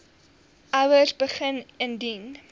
ouers begin indien